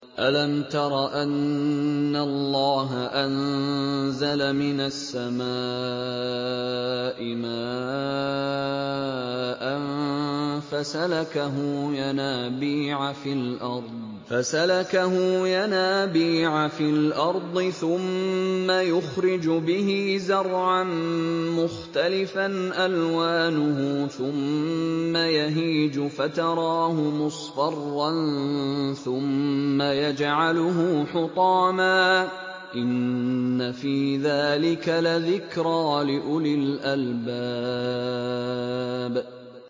أَلَمْ تَرَ أَنَّ اللَّهَ أَنزَلَ مِنَ السَّمَاءِ مَاءً فَسَلَكَهُ يَنَابِيعَ فِي الْأَرْضِ ثُمَّ يُخْرِجُ بِهِ زَرْعًا مُّخْتَلِفًا أَلْوَانُهُ ثُمَّ يَهِيجُ فَتَرَاهُ مُصْفَرًّا ثُمَّ يَجْعَلُهُ حُطَامًا ۚ إِنَّ فِي ذَٰلِكَ لَذِكْرَىٰ لِأُولِي الْأَلْبَابِ